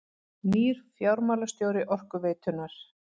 Nýr fjármálastjóri Orkuveitunnar